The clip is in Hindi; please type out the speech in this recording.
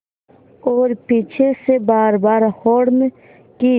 और पीछे से बारबार हार्न की